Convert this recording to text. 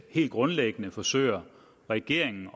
helt grundlæggende forsøger regeringen